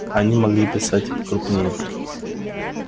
они могли писать и крупнее